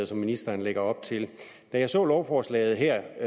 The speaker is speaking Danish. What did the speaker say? som ministeren lægger op til da jeg så lovforslaget her